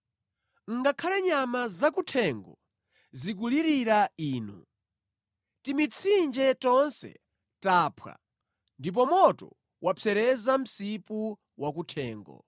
Ngakhale nyama zakuthengo zikulirira Inu; timitsinje tonse taphwa ndipo moto wapsereza msipu wa kuthengo.